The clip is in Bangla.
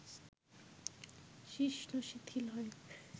শিশ্ন শিথিল হয়